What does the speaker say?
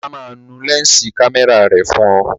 Ọlá máa nu lẹ́ǹsì kámẹ́rà rẹ̀ fún ọ